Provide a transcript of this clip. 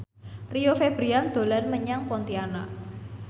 Rio Febrian dolan menyang Pontianak